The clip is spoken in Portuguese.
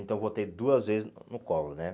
Então, eu votei duas vezes no no Collor, né?